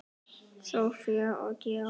Soffía og Georg.